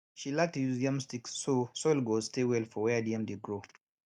she like to use yam stick so soil go stay well for where di yam dey grow